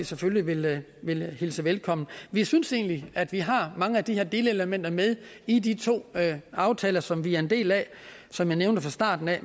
selvfølgelig vil hilse velkommen vi synes egentlig at vi har mange af de her delelementer med i de to aftaler som vi er en del af som jeg nævnte fra starten af